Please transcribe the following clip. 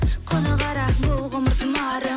құны қара бұл ғұмыр тұмарың